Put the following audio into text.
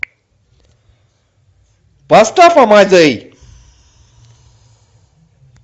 поставь амадей